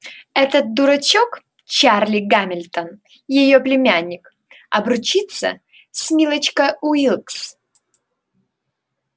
этот дурачок чарли гамильтон её племянник обручится с милочкой уилкс